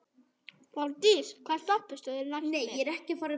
Borgdís, hvaða stoppistöð er næst mér?